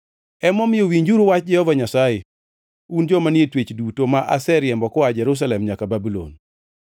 Emomiyo, winjuru wach Jehova Nyasaye, un joma ni e twech duto ma aseriembo koa Jerusalem nyaka Babulon.